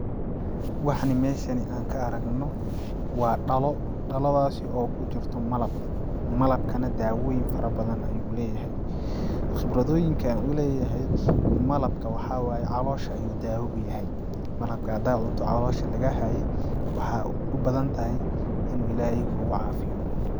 Waxani meshan an ka aragno waa dhalo dhaladaasi oo kujirto malab, malabka nah daawoyin fara badan ayuu leyahy khibradooyinka u leeyahay malabka waxaa waaye calosha ayuu daawa u yahay malabka hada cunto calosha nah laga haye waxay u badan ahay in uu ilaahey kucaafiyo.